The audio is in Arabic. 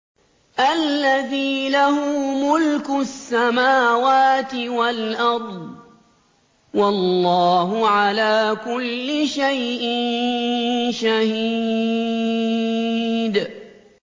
الَّذِي لَهُ مُلْكُ السَّمَاوَاتِ وَالْأَرْضِ ۚ وَاللَّهُ عَلَىٰ كُلِّ شَيْءٍ شَهِيدٌ